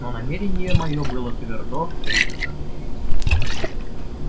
но намерение моё было твёрдо принято